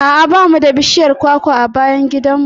A'a ba mu da bishiyar kwakwa a bayan gidan mu.